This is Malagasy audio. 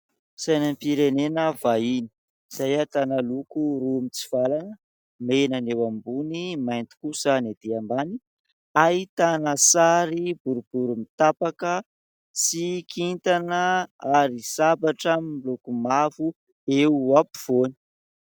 Sainam-pirenena vahiny, izay ahitana loko roa mitsivalana : mena ny eo ambony, mainty kosa ny etỳ ambany ; ahitana sary boribory mitapaka sy kintana ary sabatra miloko mavo eo afovoany.